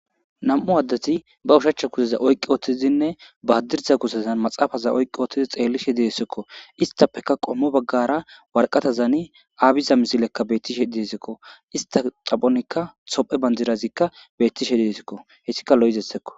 Nam'u addati ba ushachcha kuzeza oyqi oottizinne baadirta kusezan maxaafaza oyqqi oottizi xeellishe diessekko istappeka qommo baggara warqatazaani aabiza mizilekka bettishe diesekko ista xaphonikka sophe banjirazikka bettishe diesikko hessika lo'izessekko.